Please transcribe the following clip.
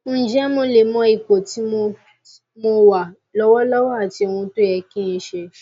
ǹjẹ mo lè mọ ipò tí mo mo wà lọwọlọwọ àti ohun tó yẹ kí n ṣe